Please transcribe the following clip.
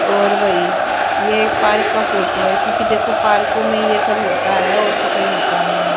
और भाई ये एक पार्क का फोटो है क्योंकि देखो पार्कों में ये सब होता है और तो कहीं होता नहीं है।